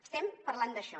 estem parlant d’això